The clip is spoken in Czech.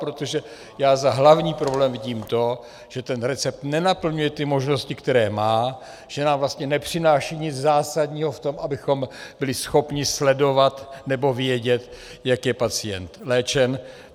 Protože já jako hlavní problém vidím to, že ten recept nenaplňuje ty možnosti, které má, že nám vlastně nepřináší nic zásadního v tom, abychom byli schopni sledovat nebo vědět, jak je pacient léčen.